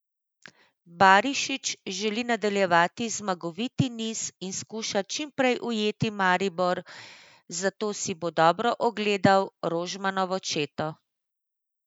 Barišić želi nadaljevati zmagoviti niz in skuša čim prej ujeti Maribor, zato si bo dobro ogledal Rožmanovo četo.